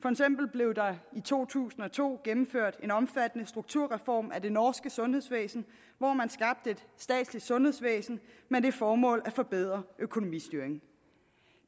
blev der i to tusind og to gennemført en omfattende strukturreform af det norske sundhedsvæsen hvor man skabte et statsligt sundhedsvæsen med det formål at forbedre økonomistyringen